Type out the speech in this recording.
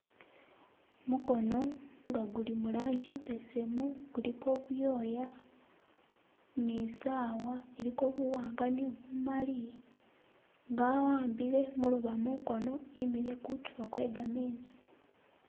Gumukono nga guli mu lanji imbesemu guliko ibyoya ni sawa iliko buwanga ni bumali nga awambile gumulobo munkono imikile kuntulo kwe gamezi